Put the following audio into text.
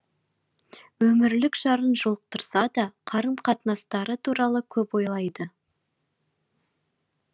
өмірлік жарын жолықтырса да қарым қатынастары туралы көп ойлайды